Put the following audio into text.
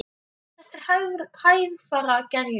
Þetta er hægfara gerjun.